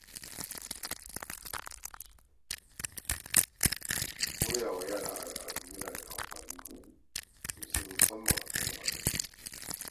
Koya wa yara al’adu yana da muhimmanci sosai, musamman sanin asalinsu.